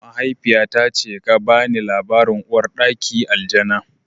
Mahaifiyata ce ga bani labarin Uwar ɗaki Aljana